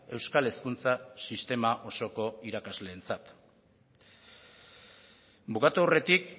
euskal hezkuntza sistema osoko irakasleentzat bukatu aurretik